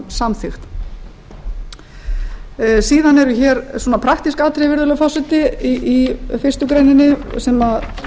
fram samþykkt síðan eru hér praktísk atriði virðulegur forseti í fyrstu grein sem